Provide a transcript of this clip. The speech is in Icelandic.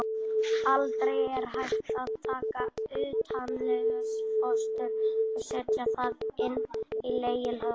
Aldrei er hægt að taka utanlegsfóstur og setja það inn í legholið.